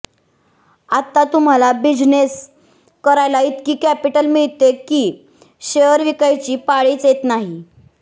आता तुम्हाला बिझनेस करायला इतकी कॅपिटल मिळते कि शेअर विकायची पाळीच येत नाही